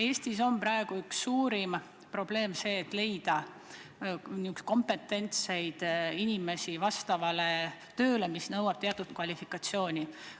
Eestis on praegu üks suurimaid probleeme see, kuidas leida kompetentseid inimesi tööle, mis nõuab teatud kvalifikatsiooni.